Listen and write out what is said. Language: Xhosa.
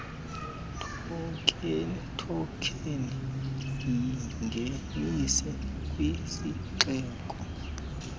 thokheni yingenise kwisixeko